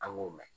An k'o mɛn